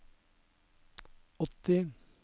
åtti